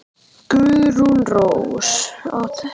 Guðrún Rós.